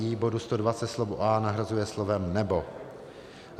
I bodu 120 slovo a nahrazuje slovem nebo;